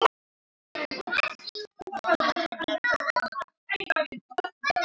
Mamma hennar komin.